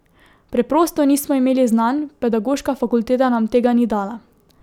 Preprosto nismo imeli znanj, pedagoška fakulteta nam tega ni dala.